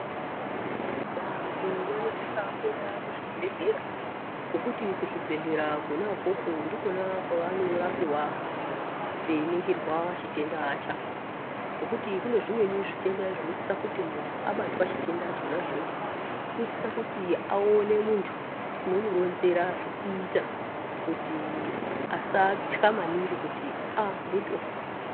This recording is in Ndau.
Vantu vanosisa kuenda kuzvibhedhlera ngokuti kuzvibhedhlera Kona ukoko ndikona kwavanorapiwa veiningirwa chitenda chako , ngokuti kune zvimweni zvitenda zvinosisa kuti muntu abatwa chitenda chona ichocho unosisa kuti aone muntu unomuronzera zvokuita kuti asatay maningi kuti aaa ndotofa.